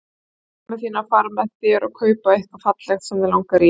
Biddu mömmu þína að fara með þér og kaupa eitthvað fallegt sem þig langar í.